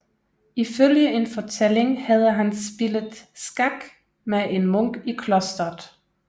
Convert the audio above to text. Ifølge en fortælling havde han spillet skak med en munk i klosteret